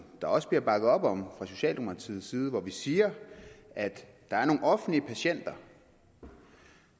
der også bliver bakket op om fra socialdemokratiet side hvor vi siger at der er nogle offentlige patienter og